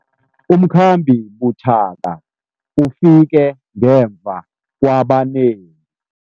Umkhambi buthaka ufike ngemva kwabanengi.